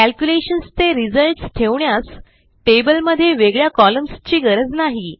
calculations चे results ठेवण्यास टेबलमध्ये वेगळ्या कॉलम्न्स ची गरज नाही